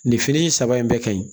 Nin fini in saba in bɛɛ ka ɲi